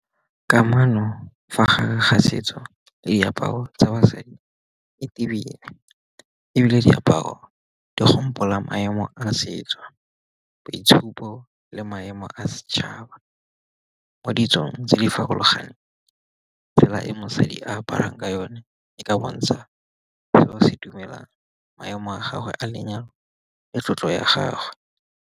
Kamano fa gare ga setso diaparo tsa basadi e ebile diaparo gopola maemo a setso, boitshupo le maemo a setšhaba, mo ditsong tse di farologaneng. Tsela e mosadi a aparang ka yone e ka bontsha fa seo se dumela maemo a gagwe a lenyalo le tlotlo ya gagwe.